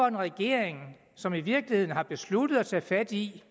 en regering som i virkeligheden har besluttet at tage fat i